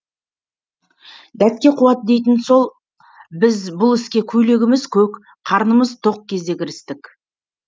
дәтке қуат дейтіні сол біз бұл іске көйлегіміз көк қарнымыз тоқ кезде кірістік